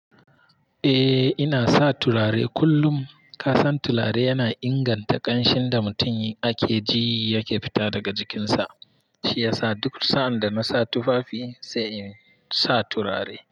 Eh, ina sa turare kullum. Ka san turare yana inganta ƙanshin da mutum ake ji yake fita daga jikinsa. Shi ya sa duk sa'an dana sa tufafi sai in sa turare.